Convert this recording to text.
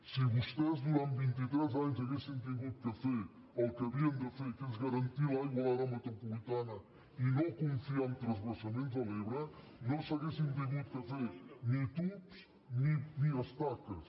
si vostès durant vint i tres anys haguessin hagut de fer el que havien de fer que és garantir l’aigua a l’àrea metropolitana i no confiar en transvasaments de l’ebre no s’haurien hagut de fer ni tubs ni estaques